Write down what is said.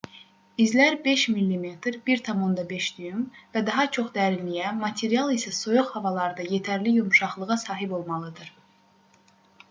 i̇zlər 5 mm 1/5 düym və daha çox dərinliyə material isə soyuq havalarda yetərli yumşaqlığa sahib olmalıdır